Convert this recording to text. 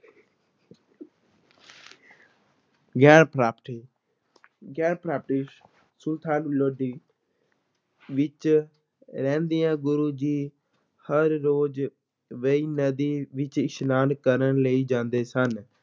ਗਿਆਨ ਪ੍ਰਾਪਤੀ ਗਿਆਨ ਪ੍ਰਾਪਤੀ ਸੁਲਤਾਨ ਲੋਧੀ ਵਿੱਚ ਰਹਿੰਦਿਆਂ ਗੁਰੂ ਜੀ ਹਰ ਰੋਜ਼ ਵੇਈਂ ਨਦੀ ਵਿੱਚ ਇਸ਼ਨਾਨ ਕਰਨ ਲਈ ਜਾਂਦੇ ਸਨ।